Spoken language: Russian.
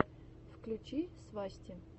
включи свасти